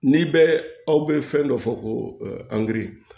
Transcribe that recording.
N'i bɛ aw bɛ fɛn dɔ fɔ ko angiri